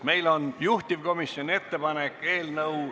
Meil on juhtivkomisjoni ettepanek eelnõu ...